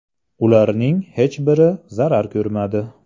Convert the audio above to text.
Ularning hech biri zarar ko‘rmadi.